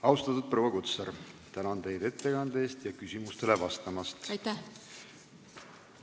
Austatud proua Kutsar, tänan teid ettekande eest ja küsimustele vastamast!